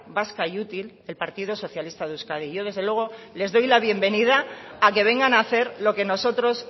vasca y útil el partido socialista de euskadi yo desde luego les doy la bienvenida a que vengan a hacer lo que nosotros